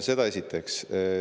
Seda esiteks.